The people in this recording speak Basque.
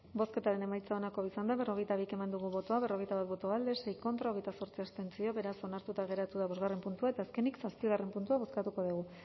bozketaren emaitza onako izan da berrogeita bi eman dugu bozka berrogeita bat boto alde sei contra hogeita zortzi abstentzio beraz onartuta geratu da bosgarren puntua eta azkenik zazpigarren puntua bozkatuko dugu